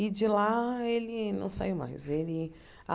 E de lá, ele não saiu mais. Ele